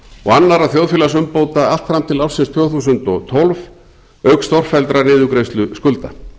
og annarra þjóðfélagsumbóta allt fram til ársins tvö þúsund og tólf auk stórfelldrar niðurgreiðslu skulda